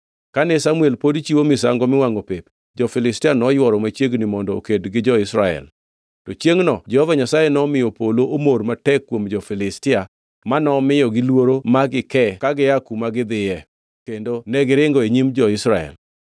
Kane Samuel pod chiwo misango miwangʼo pep, jo-Filistia noyworo machiegni mondo oked gi jo-Israel. To chiengʼno Jehova Nyasaye nomiyo polo omor matek kuom jo-Filistia manomiyogi luoro ma gikee ka gikia kuma gidhiye, kendo negiringo e nyim jo-Israel.